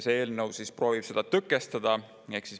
See eelnõu proovib seda tõkestada.